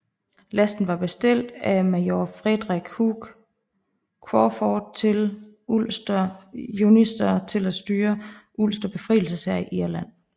Lasten var bestilt af major Frederick Hugh Crawford til Ulster Unionister til at udstyre Ulster befrielseshær i Irland